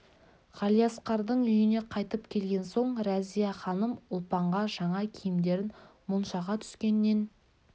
ғалиасқардың үйіне қайтып келген соң рәзия-ханым ұлпанға жаңа киімдерін моншаға түскеннен